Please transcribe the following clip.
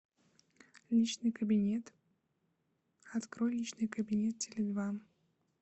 личный кабинет открой личный кабинет теле два